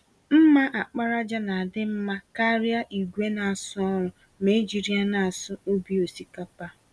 mma àkpàràjà ná adị mmá karịa ìgwè n'asụ ọrụ, ma ejiri ya n'asụ ubi osikapa.